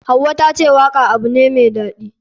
Hauwa tace waka abu ne mai daɗi.